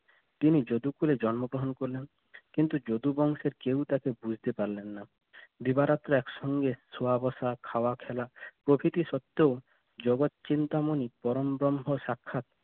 তিনি যোধপুরে জন্মগ্রহণ করলেন কিন্তু যদুবংশের চিন্তা বুঝতে পারলেন না দিবারাত্রি একসঙ্গে শোয়া বসা খাওয়া খেলা প্রকৃতি সত্বেও জগৎ চিন্তা মনি পরম ব্রহ্ম সাক্ষাৎ